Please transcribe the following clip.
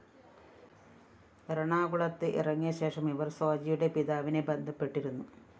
എറണാകുളത്ത് ഇറങ്ങിയ ശേഷം ഇവര്‍ സോജയുടെ പിതാവിനെ ബന്ധപ്പെട്ടിരുന്നു